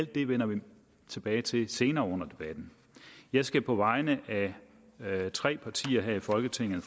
det vender vi tilbage til senere under debatten jeg skal på vegne af tre partier her i folketinget